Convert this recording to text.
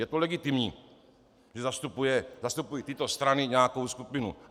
Je to legitimní, že zastupují tyto strany nějakou skupinu.